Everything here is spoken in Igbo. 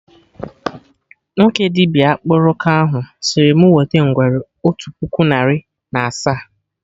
Nwoke dibịa akpụrụka ahụ sịrị mụ wete ngwere otu puku narị na asaa